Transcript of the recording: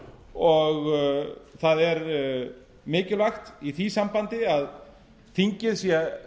og það er mikilvægt í því sambandi að þingið sé